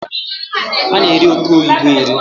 A na-eri oke oyibo eri